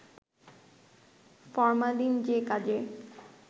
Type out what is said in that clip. formalin যে কাজে